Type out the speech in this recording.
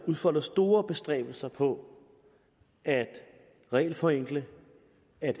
udfolder store bestræbelser på at regelforenkle